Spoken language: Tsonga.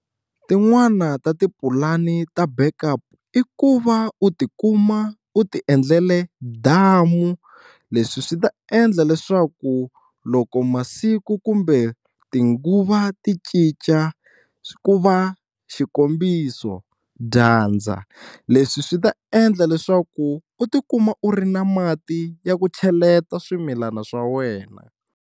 Tin'wani ta tipulani ta backup i ku va u ti kuma u tiendlele damu leswi swi ta endla leswaku loko masiku kumbe tinguva ti cinca ku va xikombiso, dyandza leswi swi ta endla leswaku u tikuma u ri na mati ya ku cheleta swimilana swa wena.